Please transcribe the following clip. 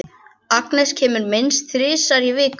Agnes kemur minnst þrisvar í viku.